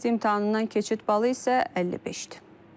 Test imtahanından keçid balı isə 50-dir.